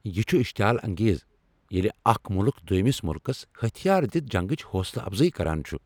یہ چھُ اشتعیال انگیز ییلہ اكھ مُلک دویمِس ملکس ہتھیار دِتھ جنگچ حوصلہٕ افضٲیی کران چھُ ۔